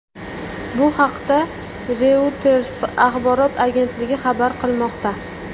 Bu haqda Reuters axborot agentligi xabar qilmoqda .